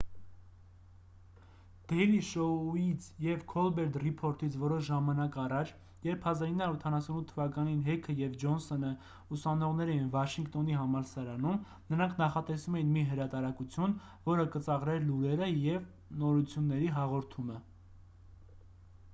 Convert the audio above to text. դեյլի շոույից և քոլբերտ ռիփորթից որոշ ժամանակ առաջ երբ 1988 թվականին հեքը և ջոնսոնը ուսանողներ էին վաշինգտոնի համալսարանում նրանք նախատեսում էին մի հրատարակություն որը կծաղրեր լուրերը և նորությունների հաղորդումը